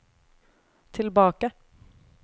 tilbake